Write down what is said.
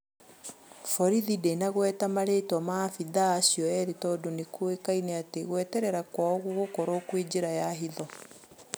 Borithi ndĩnagweta marĩĩtwa ma maabithaa acio erĩ tondũ nĩ kũĩkaine atĩ gwĩtetera kwao gũgũkorwo kwi njĩra ya hitho.